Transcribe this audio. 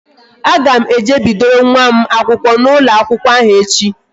A ga m eje bidoro nwa m akwụkwọ n'ụlọ akwụkwọ ahụ echi